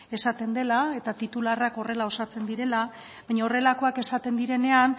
esaten dela eta titularrak horrela osatzen direla baina horrelakoak esaten direnean